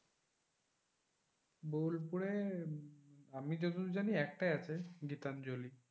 বোলপুরে আমি যতদূর জানি একটাই আছে গীতাঞ্জলি।